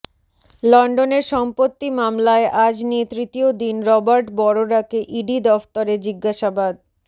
লন্ডনের সম্পত্তি মামলায় আজ নিয়ে তৃতীয় দিন রবার্ট বঢ়রাকে ইডি দফতরে জিজ্ঞাসাবাদ